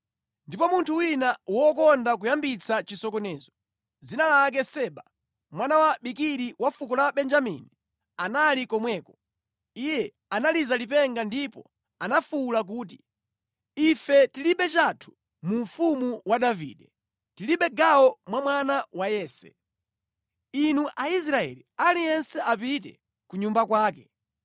Ndipo munthu wina wokonda kuyambitsa chisokonezo, dzina lake Seba, mwana wa Bikiri wa fuko la Benjamini, anali komweko. Iye analiza lipenga ndipo anafuwula kuti, “Ife tilibe chathu mu mfumu wa Davide, tilibe gawo mwa mwana wa Yese! Inu Aisraeli aliyense apite ku nyumba kwake!”